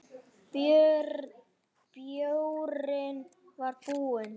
Bjórinn var búinn.